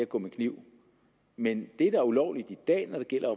gå med kniv men det der er ulovligt i dag når det gælder